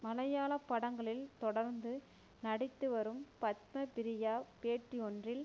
மலையாள படங்களில் தொடர்ந்து நடித்துவரும் பத்ம ப்ரியா பேட்டியொன்றில்